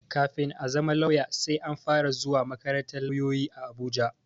Kafin ka zama lauya, sai an fara zuwa makarantar lauloyi a Abuja.